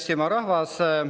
Hea Eestimaa rahvas!